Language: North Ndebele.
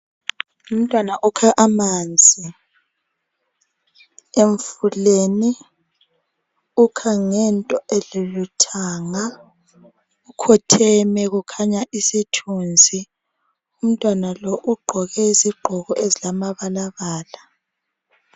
Umntwana okha amanzi emfuleni okha ngento elilu thanga ukhotheme kukhanya isithunzi umntwana lo ugqoke iziqgoko ezingamabalabala